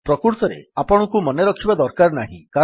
ପ୍ରକୃତରେ ଆପଣଙ୍କୁ ମନେରଖିବା ଦରକାର ନାହିଁ